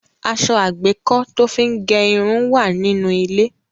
Aṣọ àgbékọ́ tó fí ń gẹ irun wà nínú ilé.